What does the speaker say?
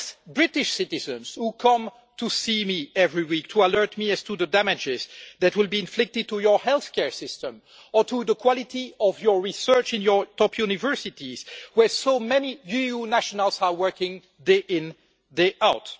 British citizens come to see me every week, to alert me to the damage that will be inflicted on your healthcare system or on the quality of research in your top universities, where so many EU nationals are working day in, day out.